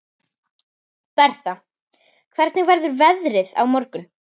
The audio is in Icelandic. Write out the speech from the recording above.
Bertha, hvernig verður veðrið á morgun?